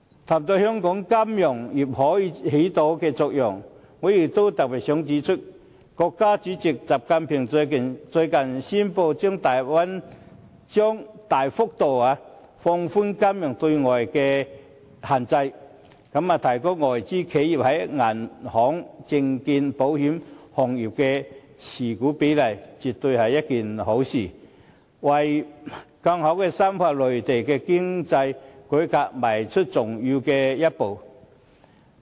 談到香港金融業可以發揮的作用，我也特別想指出，國家主席習近平最近宣布將大幅度放寬金融業對外資的限制，提高外資企業在銀行、證券、保險等行業的持股比例，絕對是一件好事，更是為深化內地經濟改革邁出重要的一步。